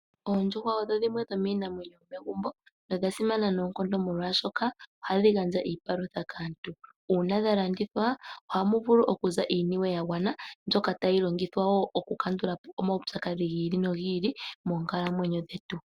Oondjuhwa odho dhimwe dhomiinamwenyo yomegumbo nodha simana noonkondo molwashoka ohadhi gandja iipalutha kaantu. Uuna dha landithwa ohamu vulu okuza iiniwe yagwana mbyoka tayi longithwa wo oku kandula po omaupyakadhi gi ili nogi ili moonkalamwenyo dhetu.